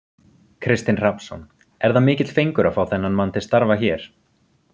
Kristinn Hrafnsson: Er það mikill fengur að fá þennan mann til starfa hér?